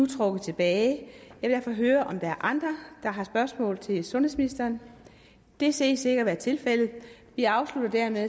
trukket tilbage jeg vil derfor høre om der er andre der har spørgsmål til sundhedsministeren det ses ikke at være tilfældet vi afslutter dermed